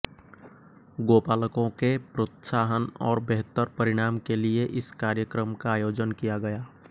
गौपालकों के प्रोत्साहन और बेहतर परिणाम के लिए इस कार्यक्रम का आयोजन किया गया